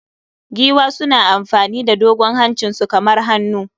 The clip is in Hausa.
Giwa suna amfani da dogon hancinsu kamar hannu